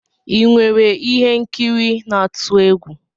Ị nwere ihe nkiri n'atu egwu?